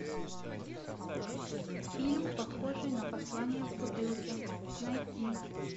фильм похожий на послание в бутылке найти